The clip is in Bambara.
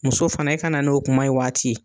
Muso fana i ka n'o kuma y'o waati.